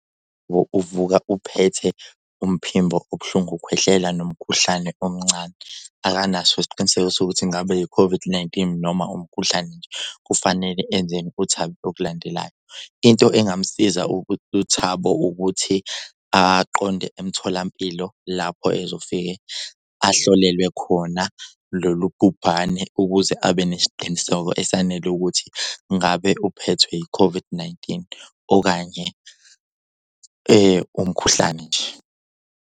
Uvuka uphethe umphimbo ubuhlungu ukhwehlela nomkhuhlane omncane, akanaso isiqiniseko sokuthi ingabe i-COVID-19 noma umkhuhlane nje. Kufanele enzeni uThabo ngokulandelayo? Into engamsiza uThabo ukuthi aqonde emtholampilo lapho ezofike ahlolelwe khona lolu bhubhane ukuze abe nesiqiniseko esanele ukuthi ngabe uphethwe i-COVID-19 okanye umkhuhlane nje.